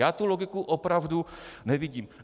Já tu logiku opravdu nevidím.